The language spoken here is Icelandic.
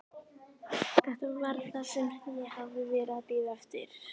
Þetta var það sem ég hafði verið að bíða eftir.